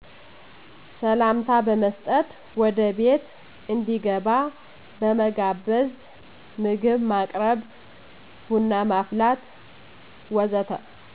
ሰላምታ በመስጠት ወደ ቤት እንዲገባ በመጋበዝ ምግብ ማቅረብ ቡና ማፍላት ወዘተ